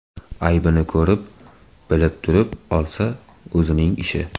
Aybini ko‘rib, bilib turib olsa, o‘zining ishi.